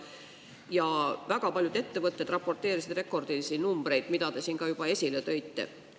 Ja väga paljud ettevõtted raporteerisid rekordilisi numbreid, mida te ka siin juba esile tõite.